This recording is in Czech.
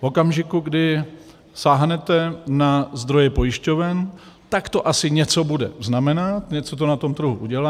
V okamžiku, kdy sáhnete na zdroje pojišťoven, tak to asi něco bude znamenat, něco to na tom trhu udělá.